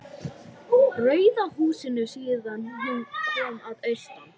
Rauða húsinu síðan hún kom að austan.